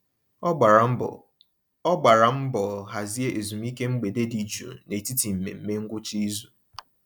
Ọ gbara mbọ Ọ gbara mbọ hazie ezumiike mgbede dị jụụ n'etiti mmemme ngwụcha izu.